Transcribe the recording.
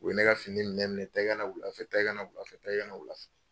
U ye ne ka fini minɛ minɛ, taa i ka na wulafɛ taa i ka na wulafɛ ,taa i ka na wulafɛ.